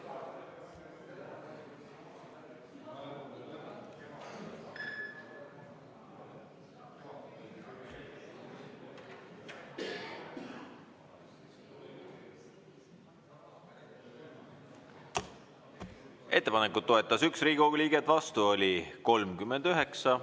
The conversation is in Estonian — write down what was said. Ettepanekut toetas 1 Riigikogu liige, vastu oli 39.